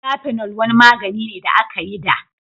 Kafinol wani magani ne da aka yi a da.